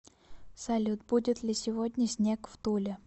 салют будет ли сегодня снег в туле